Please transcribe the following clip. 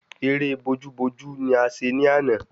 Ẹrẹ́ bojú bojú ni a ṣe ní àná